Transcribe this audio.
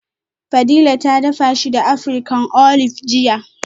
Fadila ta dafa shi da African Olive jiya